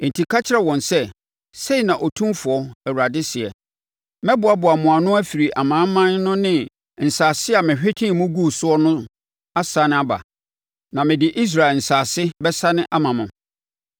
“Enti ka kyerɛ wɔn sɛ, ‘Sei na Otumfoɔ Awurade seɛ: Mɛboaboa mo ano afiri amanaman no ne nsase a mehwetee mo guu soɔ no asane aba, na mede Israel asase bɛsane ama mo.’